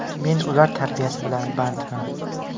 Men ular tarbiyasi bilan bandman.